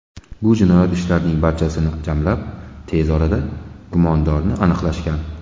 Bu jinoyat ishlarining barchasini jamlab, tez orada gumondorni aniqlashgan.